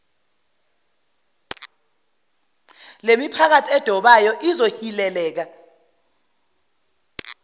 lemiphakathi edobayo ezohileleka